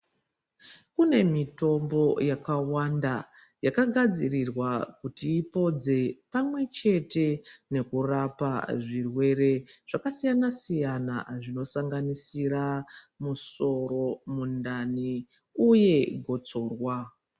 Kune mitombo yakawanda yakagadzirirwa kuti ipodze pamwechete nekurapa zvirwere zvakasiyana-siyana zvinosanganisira misoro, mundani uyepfungwa.